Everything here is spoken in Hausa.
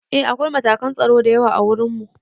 Eh akwai matakan tsaro da yawa ã wurin mu.